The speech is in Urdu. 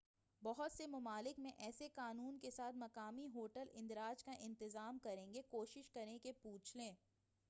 بہت سے مُمالک میں ایسے قانون کے ساتھ، مقامی ہوٹل اندراج کا انتظام کریں گے کوشش کریں کہ پُوچھ لیں